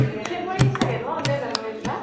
february ত চাগে ন নে january ত বা